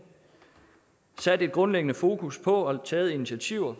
sat et grundlæggende fokus på og taget initiativer